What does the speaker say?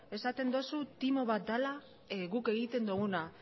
esaten dozu timo bat dala guk egiten duguna